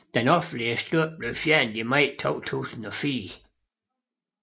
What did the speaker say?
Den offentlige støtte blev fjernet i maj 2004